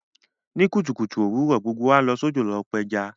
Ní kùtùkùtù òwurọ̀, gbogbo wa n lọ sódò lo pẹja